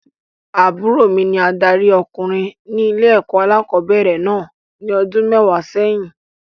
Àbúrò mi ní adarí ọkùnrin ní ilé-ẹ̀kọ́ alẹ́kọ̀ọ́bẹ̀rẹ̀ náà ní ọdún mẹ́wàá sẹ́yìn.